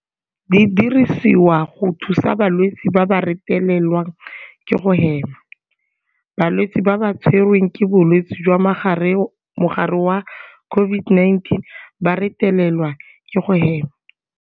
Di dirisiwa go thusa balwetse ba ba retelelwang ke go hema. Balwetse ba ba tshwe rweng ke bolwetse jwa mogare wa COVID-19 ba retelelwa ke go hema.